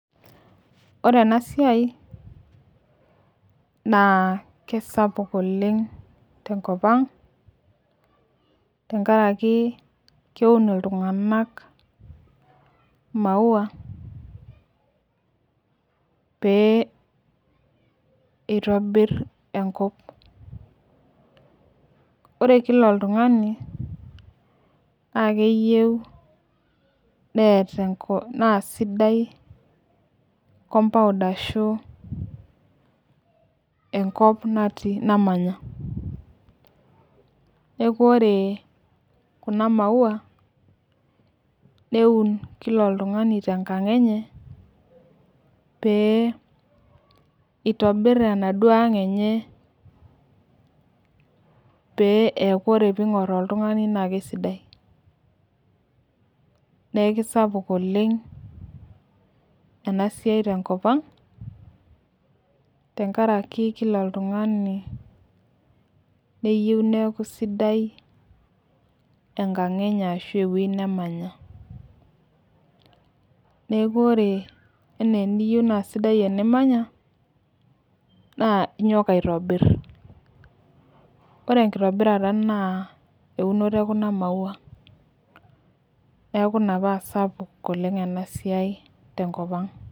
Ore ena siai, naa kisapuk oleng tenkop ang, tenkaraki keun iltunganak maua. pee eitobir enkop. ore Kila oltungani. naa keyieu neeta, naa sidai compound ashu enkop namanya. neekh ore Kuna maua neuni Kila oltungani tenkang enye. pee eitobir enaduoo ang enye, paa ore pee ing'or oltungani naa kesidai. neeku kisapuk oleng ena siai tenkop ang. tenkaraki Kila oltungani neyieu neeku kisidai enkang enye ashu ewueji nemanya. neku ore eneyieu naa sidai enimanya naa inyoo aitobir. ore enkitobirata. naa eunoto ekuna maua. neeku Ina paa sapuk ena siai tenkop ang.